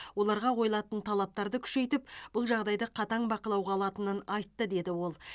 оларға қойылатын талаптарды күшейтіп бұл жағдайды қатаң бақылауға алатынын айтты деді ол